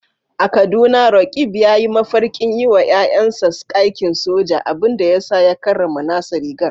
A Kaduna, Roqeeb ya yi mafarkin yi wa ‘ya’yansa aikin soja, abin da ya sa ya karrama nasa rigar.